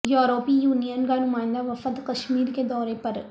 یوروپی union کا نمائندہ وفد کشمیر کے دورے پر